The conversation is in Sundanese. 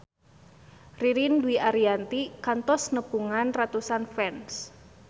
Ririn Dwi Ariyanti kantos nepungan ratusan fans